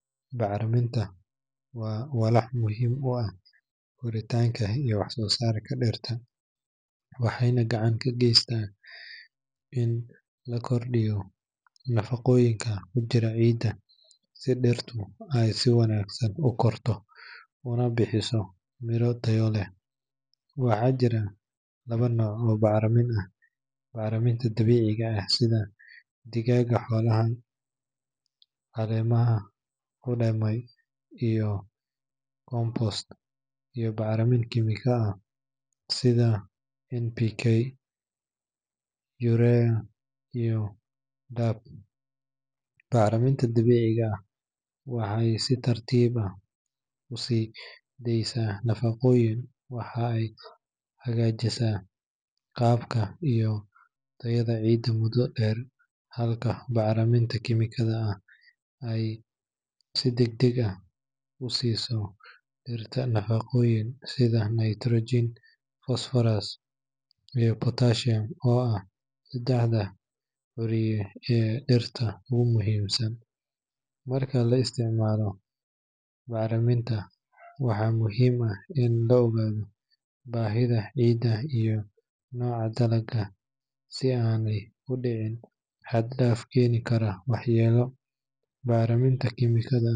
Bacriminta waa walax muhiim u ah korinta iyo wax-soo-saarka dhirta, waxayna gacan ka geysataa in la kordhiyo nafaqooyinka ku jira ciidda si dhirta ay si wanaagsan u korto una bixiso miro tayo leh. Waxaa jira laba nooc oo bacrin ah: bacriminta dabiiciga ah sida digada xoolaha, caleemaha qudhmay, iyo compost, iyo bacriminta kiimikada sida NPK, UREA, iyo DAP. Bacriminta dabiiciga ah waxay si tartiib ah u sii deysaa nafaqooyinka waxaana ay hagaajisaa qaabka iyo tayada ciidda muddo dheer, halka bacriminta kiimikada ay si degdeg ah u siiso dhirta nafaqooyin sida nitrogen, phosphorus, iyo potassium oo ah saddexda curiye ee dhirta ugu muhiimsan. Marka la isticmaalo bacriminta, waxaa muhiim ah in la ogaado baahida ciidda iyo nooca dalagga si aanay u dhicin xad-dhaaf keeni kara waxyeello. Bacriminta kiimikada .